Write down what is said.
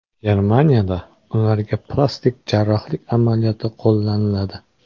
Germaniyada ularga plastik jarrohlik amaliyoti qo‘llaniladi.